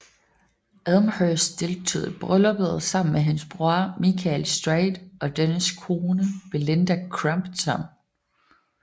Elmhirst deltog i brylluppet sammen med hendes bror Michael Straight og dennes kone Belinda Crompton